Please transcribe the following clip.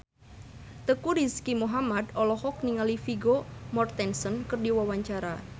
Teuku Rizky Muhammad olohok ningali Vigo Mortensen keur diwawancara